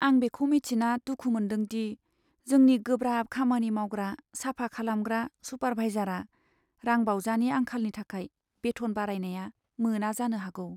आं बेखौ मिथिना दुखु मोनदों दि जोंनि गोब्राब खामानि मावग्रा, साफा खालामग्रा सुपारभाइजारआ रांबावजानि आंखालनि थाखाय बेथन बारायनाय मोना जानो हागौ।